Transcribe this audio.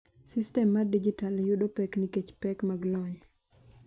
Sistem mar dijital yudo pek nikech pek mag lony.